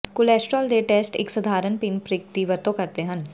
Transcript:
cholesterol ਦੇ test ਇੱਕ ਸਧਾਰਨ ਪਿੰਨ ਪ੍ਰਿਕ ਦੀ ਵਰਤੋਂ ਕਰਦੇ ਹਨ